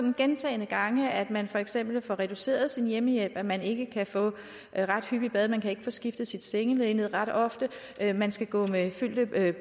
vi gentagne gange hører at man for eksempel får reduceret sin hjemmehjælp at man ikke kan få bad ret hyppigt at man ikke kan få skiftet sit sengelinned ret ofte at man skal gå med fyldte